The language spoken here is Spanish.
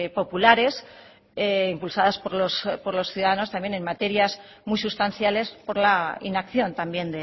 populares impulsadas por los ciudadanos también en materias muy sustanciales por la inacción también